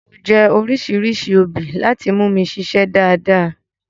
Mo jẹ́ oríṣìíríṣìí obì láti mú mi ṣiṣé dáadáa.